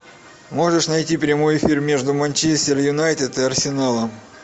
можешь найти прямой эфир между манчестер юнайтед и арсеналом